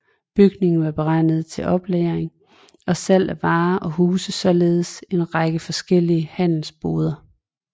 Bygningen var beregnet til oplagring og salg af varer og husede således en række forskellige handelsboder